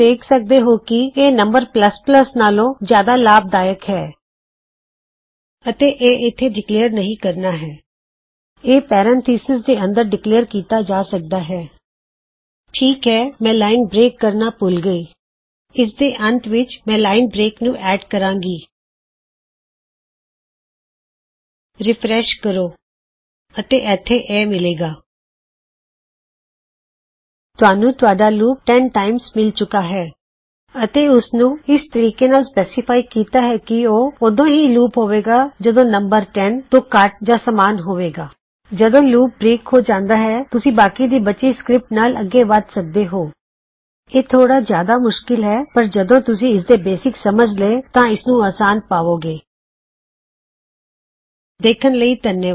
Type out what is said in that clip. ਦੇਖਣ ਲਈ ਧੰਨਵਾਦ